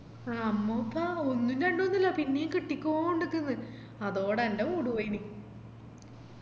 അമ്മോക്കാ ഒന്നും രണ്ടുന്നല്ല പിന്നേം കിട്ടിക്കൊണ്ട്ക്ക്ന്ന് അതോടെ എൻ്റെ mood പോയിന്